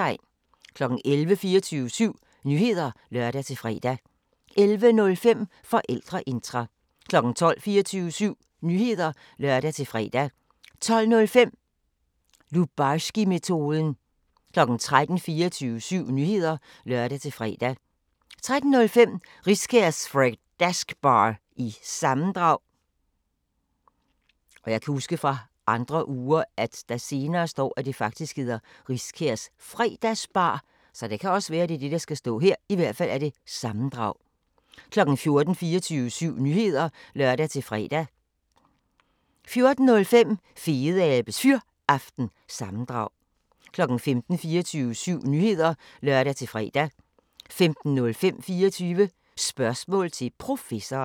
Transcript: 11:00: 24syv Nyheder (lør-fre) 11:05: Forældreintra 12:00: 24syv Nyheder (lør-fre) 12:05: Lubarskimetoden 13:00: 24syv Nyheder (lør-fre) 13:05: Riskærs Fredgasbar- sammendrag 14:00: 24syv Nyheder (lør-fre) 14:05: Fedeabes Fyraften – sammendrag 15:00: 24syv Nyheder (lør-fre) 15:05: 24 Spørgsmål til Professoren